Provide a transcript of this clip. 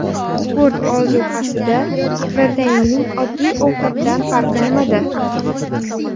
Sport ozuqasida proteinning oddiy ovqatdan farqi nimada?